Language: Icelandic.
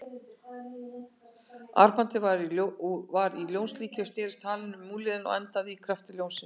Armbandið var í ljónslíki og snerist halinn um úlnliðinn og endaði í kjafti ljónsins.